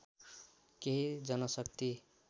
केही जनशक्ति